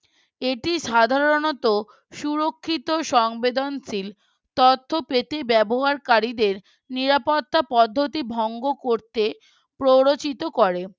এটি সাধারণত সুরক্ষিত সংবেদনশীল তথ্য পেতে ব্যবহারকারীদের নিরাপত্তা পদ্ধতি ভঙ্গ করতে প্ররোচিত করে